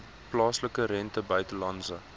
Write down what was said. plaaslike rente buitelandse